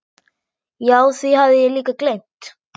Já, því hafði ég líka gleymt.